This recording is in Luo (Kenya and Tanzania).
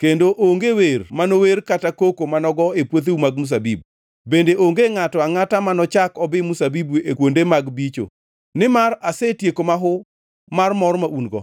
kendo onge wer mano wer kata koko manogo e puotheu mag mzabibu; bende onge ngʼato angʼata manochak obi mzabibu e kuonde mag bicho, nimar asetieko mahu mar mor ma un-go.